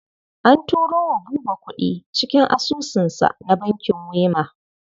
An turo wa Buba kuɗi cikin asusunsa na bankin Wema.